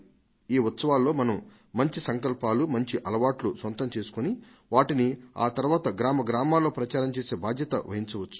ఈ ఉత్సవాల్లో మనం మంచి సంకల్పాలు మంచి అలవాట్లు సొంతం చేసుకుని వాటిని ఆ తరువాత గ్రామ గ్రామాలలో ప్రచారం చేసే బాధ్యతను వహించవచ్చు